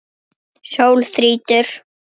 Sól þrýtur.